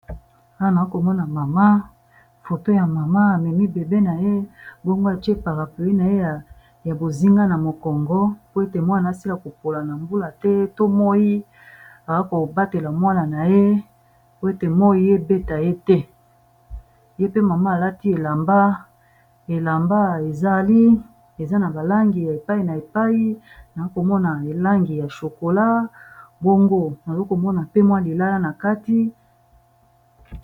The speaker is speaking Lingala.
Awa nakomona foto ya mama, amemi bebe na ye, bongo atie parpluis na ye ya bozinga na mokongo po ete mwana asila kopola na mbula te to moyi, azobatela mwana na ye po ete moyi ebeta ye te, ye mpe mama alati elamba eza na ba langi ya epai na epai nazomona langi ya shokola, bongo nazomona pe mua lilala na kati.